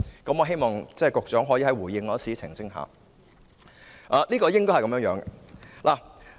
我希望局長能在回應時澄清一下。